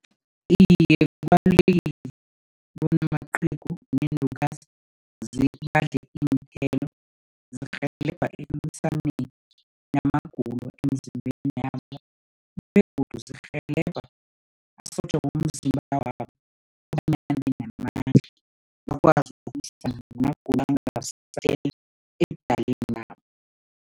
Iye, kubalulekile bona amaqhegu neenlukazi badle iinthelo. Zirhelebha ekulwisaneni namagulo emzimbeni yabo begodu zirhelebha amasotja womzimba wabo kobanyana abe namandla, bakwazi namagulo ebudaleni nabo.